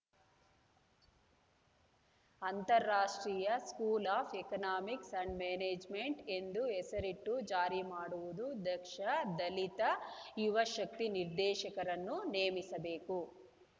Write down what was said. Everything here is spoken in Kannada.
ಅಂತರ ರಾಷ್ಟ್ರೀಯ school of economics and management ಎಂದು ಹೆಸರಿಟ್ಟು ಜಾರಿ ಮಾಡುವುದು ದಕ್ಷ ದಲಿತ ಯುವ ಶಕ್ತಿ ನಿರ್ದೇಶಕರನ್ನು ನೇಮಿಸಬೇಕು